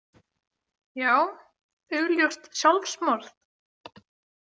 Já, augljóst sjálfsmorð?